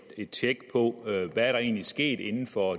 et tjek på hvad der egentlig er sket inden for